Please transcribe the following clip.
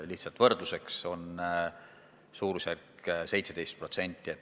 Olgu võrdluseks öeldud, et meil moodustab varade maht 17% SKP-st.